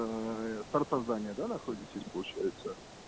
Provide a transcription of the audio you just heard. с торца здания да находитесь получается